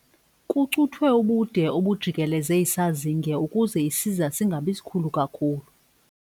Kucuthwe ubude obujikeleze isazinge ukuze isiza singabi sikhulu kakhulu.